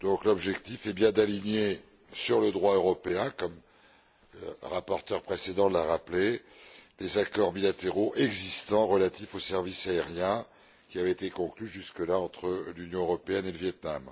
L'objectif est donc bien d'aligner sur le droit européen comme le rapporteur précédent l'a rappelé les accords bilatéraux existants, relatifs aux services aériens, qui avaient été conclus jusque là entre l'Union européenne et le Viêt Nam.